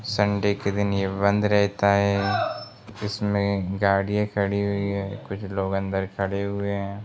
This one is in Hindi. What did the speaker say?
संडे के दिन ये बंद रहता है इसमें गाड़ियाँ खड़ी हुई है कुछ लोगन बै खड़े हुए हैं।